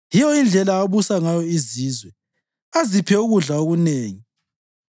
Yiyo indlela abusa ngayo izizwe aziphe ukudla okunengi.